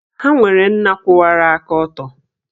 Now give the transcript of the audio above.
Ha nwere nna kwụwara aka ọtọ